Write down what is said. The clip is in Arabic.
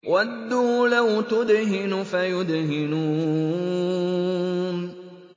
وَدُّوا لَوْ تُدْهِنُ فَيُدْهِنُونَ